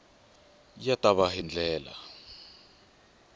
ya ta va hi ndlela